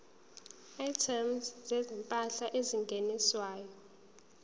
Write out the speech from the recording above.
items zezimpahla ezingeniswayo